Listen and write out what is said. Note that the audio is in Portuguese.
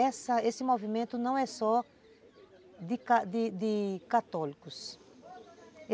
Essa, esse movimento não é só de de católicos.